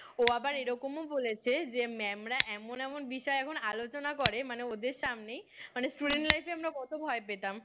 ও আবার এরকমও বলেছে যে mam রা এমন এমন বিষয় এখন আলোচনা করে মানে ওদের সামনেই মানে student life এ আমরা কত ভয় পেতাম